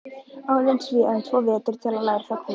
Óðins véum tvo vetur til að læra þá kúnst.